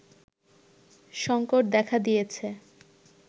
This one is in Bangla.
সংকট দেখা দিয়েছে